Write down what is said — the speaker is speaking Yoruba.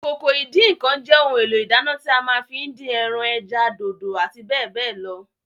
Ìkòkò ìdín-ǹǹkan jẹ́ ohun èlò ìdáná tí a ma ń fí dín ẹran, ẹja, dòdò àti bẹ́ẹ̀bẹ́ẹ̀ lọ